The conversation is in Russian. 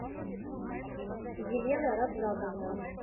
елена раджабовна